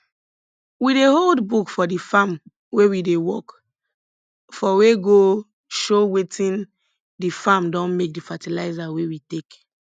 we dey hold book for di farm wey we dey work for wey go show wetin di farm don make di fertilizer wey we take